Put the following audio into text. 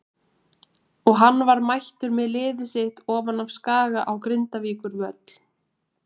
Og hann var mættur með liðið sitt ofan af Skaga á Grindavíkurvöll.